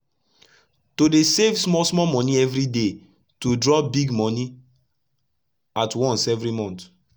to dey save small small moni everi day to drop big moni at once everi month